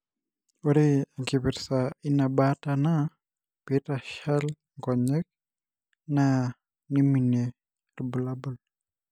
Ore enkipirta ina baata na pitashal inkonyek na niminie ilbulabul.